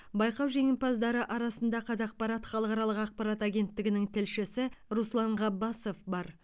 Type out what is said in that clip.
байқау жеңімпаздары арасында қазақпарат халықаралық ақпарат агенттігінің тілшісі руслан ғаббасов бар